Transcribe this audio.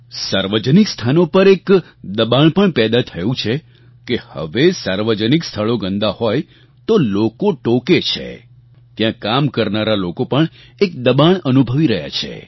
સાર્વજનિક સ્થાનો પર એક દબાણ પણ પેદા થયું છે કે હવે સાર્વજનિક સ્થળો ગંદા હોય તો લોકો ટોકે છે ત્યાં કામ કરનારા લોકો પણ એક દબાણ અનુભવી રહ્યા છે